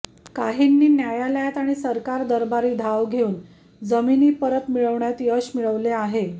काहीनी न्यायालयात आणि सरकार दरबारी धाव घेवून जमिनी परत मिळविण्यात यश मिळविले आहे